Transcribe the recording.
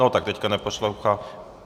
No tak teď neposlouchá.